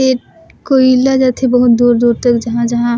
एक कोयला जाथे बहुत दूर-दूर तक जहाँ-जहाँ--